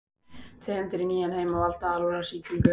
Tegundir í nýja heiminum valda alvarlegri sýkingum.